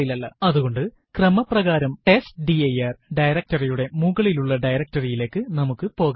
അതുകൊണ്ട് ക്രമപ്രകാരം test dir directory യുടെ മുകളിലുള്ള directory യിലേക്ക് നമുക്ക് പോകാം